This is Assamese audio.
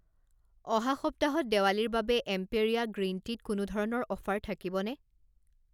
অহা সপ্তাহত দেৱালীৰ বাবে এম্পেৰীয়া গ্ৰীণ টিত কোনো ধৰণৰ অফাৰ থাকিব নে?